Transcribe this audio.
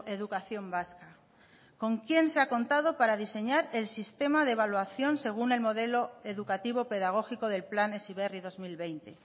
educación vasca con quién se ha contado para diseñar el sistema de evaluación según el modelo educativo pedagógico del plan heziberri dos mil veinte